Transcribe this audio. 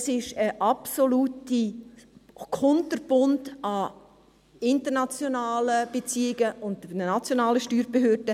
Es gibt einen ganzen Strauss an internationalen Beziehungen und nationalen Steuerbehörden.